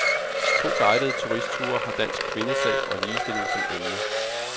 To guidede turistture har dansk kvindesag og ligestilling som emne.